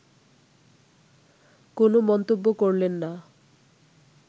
কোনো মন্তব্য করলেন না